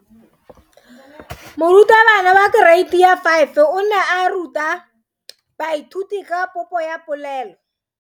Moratabana wa kereiti ya 5 o ne a ruta baithuti ka popo ya polelo.